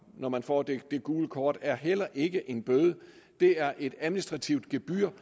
når man får det gule kort er heller ikke en bøde det er et administrativt gebyr